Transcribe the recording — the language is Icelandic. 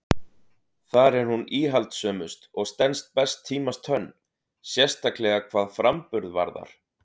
Þar er hún íhaldssömust og stenst best tímans tönn, sérstaklega hvað framburð varðar.